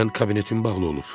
Dünən kabinetin bağlı idi.